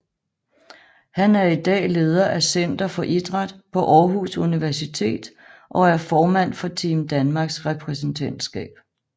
Han er i dag leder af Center for Idræt på Aarhus Universitet og er formand for Team Danmarks repræsentantskab